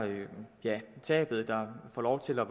tabet og får lov til at